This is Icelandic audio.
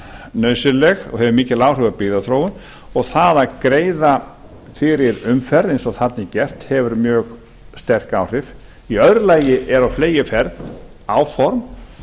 nauðsynleg og hefur mikil áhrif á byggðaþróun og það að greiða fyrir umferð eins og þarna er gert hefur mjög sterk áhrif og í öðru lagi eru á fleygiferð áform